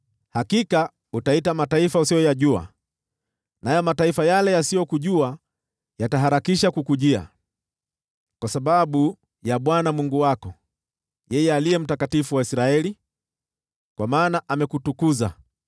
Hakika utaita mataifa usiyoyajua, nayo mataifa yale yasiyokujua yataharakisha kukujia, kwa sababu ya Bwana Mungu wako, yeye Aliye Mtakatifu wa Israeli, kwa maana amekutukuza.”